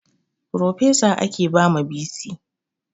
Frofesa ake ba ma bc